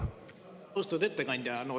Austatud ettekandja!